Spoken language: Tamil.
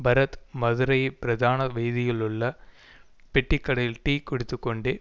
பரத் மதுரையில் பிரதான வீதியிலுள்ள பெட்டிக்கடையில் டீ குடித்துக்கொண்டே